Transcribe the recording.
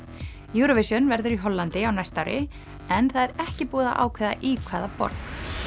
Eurovision verður í Hollandi á næsta ári en það er ekki búið að ákveða í hvaða borg